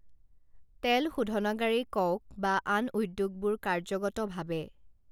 তেলশোধনাগাৰেই কঁওক বা আন উদ্যোগবোৰ কাৰ্য্যগতভাৱে